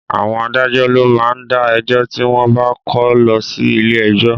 Àwọn adájọ́ ló má ń dá ẹjọ́ tí wọ́n bá kó lọ sí ilé ẹjọ́